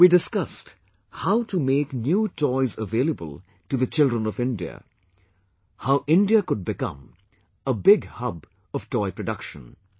We discussed how to make new toys available to the children of India, how India could become a big hub of toy production